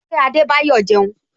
Ṣé Adebayo jẹun?